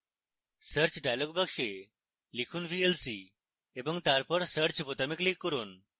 search dialog box লিখুন vlc এবং তারপরে search বোতামে click করুন